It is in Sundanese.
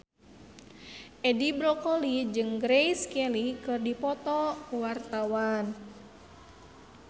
Edi Brokoli jeung Grace Kelly keur dipoto ku wartawan